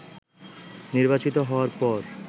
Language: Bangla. নির্বাচিত হওয়ার পর